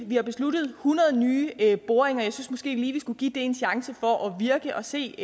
vi har besluttet hundrede nye boringer jeg synes måske lige at vi skulle give det en chance for at virke og se